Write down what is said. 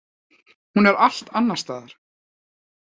Hún er allt annars staðar.